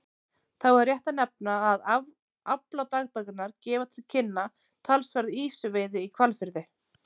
Þá er rétt að nefna að afladagbækurnar gefa til kynna talsverða ýsuveiði í Hvalfirði.